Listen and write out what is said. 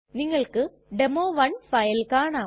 നിങ്ങൾക്ക് demo 1 file കാണാം